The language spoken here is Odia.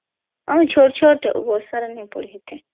ଚୋଟ୍ ଚୋଟ୍ ବର୍ଷା ର ନଈ ପଡୀ